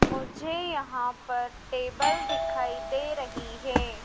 मुझे यहां पर टेबल दिखाई दे रही है।